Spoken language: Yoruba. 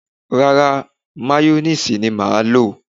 Rárá, Máyóníìsì ni mà á lò